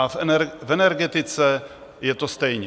A v energetice je to stejné.